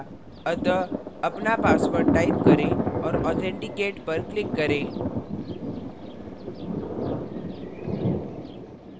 अतः अपना password type करें और authenticate पर click करें